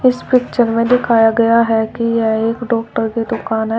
इस पिक्चर में दिखाया गया है कि यह एक डॉक्टर की दुकान है।